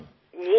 जी जी जरुर